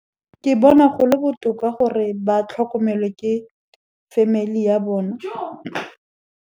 Ke bona go le botoka gore ba tlhokomelwe ke family ya bona.